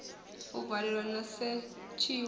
a valelwa na u setshiwa